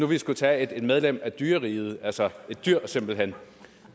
vi kunne tage et medlem af dyreriget altså et dyr simpelthen